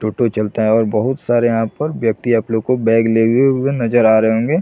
टोटो चलता है और बहुत सारे यहाँ पर व्यक्ति आप लोग को बैग लेगे हुए नज़र आ रहे होंगे।